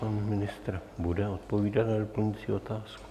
Pan ministr bude odpovídat na doplňující otázku.